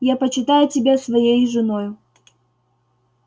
я почитаю тебя своею женою